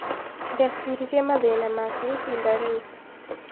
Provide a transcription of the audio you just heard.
Ndeciririe mathĩna make ihinda rĩu